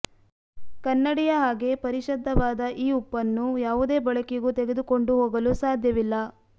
ಕನ್ನಡಿಯ ಹಾಗೆ ಪರಿಶದ್ಧವಾದ ಈ ಉಪ್ಪನ್ನು ಯಾವುದೇ ಬಳಕೆಗೂ ತೆಗೆದುಕೊಂಡು ಹೋಗಲು ಸಾಧ್ಯವಿಲ್ಲ